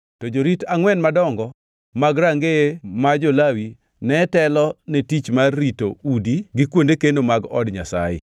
To jorit angʼwen madongo mag rangeye ma jo-Lawi ne otelo ne tich mar rito udi gi kuonde keno mag Od Nyasaye.